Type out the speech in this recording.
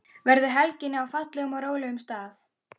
Verðu helginni á fallegum og rólegum stað.